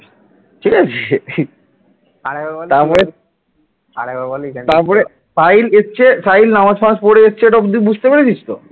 সাহিল এসেছে, সাহিল নামাজ টামাজ পড়ে এসছে, এটা অব্দি বুঝতে পেরেছিস তো?